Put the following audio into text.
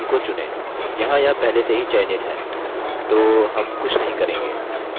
यहाँ यह पहले से ही चयनित है तो हम कुछ नहीं करेंगे